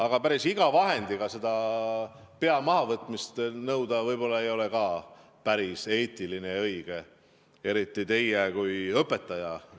Aga päris iga vahendiga seda pea mahavõtmist nõuda võib-olla ei ole ka päris eetiline ja õige, eriti teil kui õpetajal.